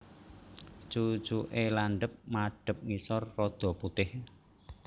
Cucuke landhep madhep ngisor rada putih